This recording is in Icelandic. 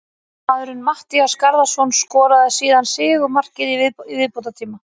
Varamaðurinn Matthías Garðarsson skoraði síðan sigurmarkið í viðbótartíma.